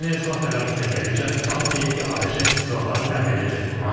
Ukraynaya silah tədarükünə gəlinincə, Tramp deyib ki, ABŞ silahları təmin edəcək.